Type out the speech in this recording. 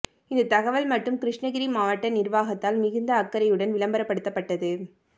இந்த தகவல் மட்டும் கிருஷ்ணகிரி மாவட்ட நிர்வாகத்தால் மிகுந்த அக்கறையுடன் விளம்பரப்படுத்தப்பட்டது